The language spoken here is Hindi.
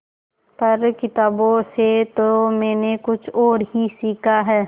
पर किताबों से तो मैंने कुछ और ही सीखा है